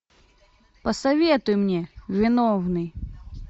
посоветуй мне виновный